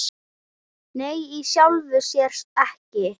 Nei, í sjálfu sér ekki.